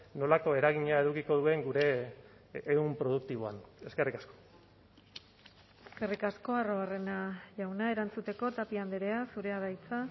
nolako eragina edukiko duen gure ehun produktiboan eskerrik asko eskerrik asko arruabarrena jauna erantzuteko tapia andrea zurea da hitza